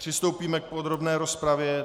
Přistoupíme k podrobné rozpravě.